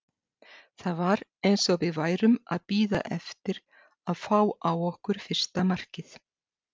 Það var eins og við værum að bíða eftir að fá á okkur fyrsta markið.